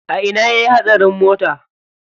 A ina yayi hatsarin mota?